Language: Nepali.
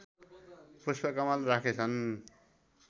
पुष्पकमल राखेछन्